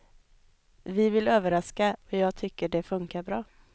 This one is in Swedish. Vi vill överraska, och jag tycker det funkar bra.